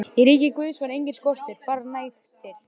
Í ríki Guðs var enginn skortur, bara nægtir.